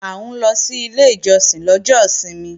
À ń lọ sí ilé ìjọsìn lọ́jọ́ ìsinmi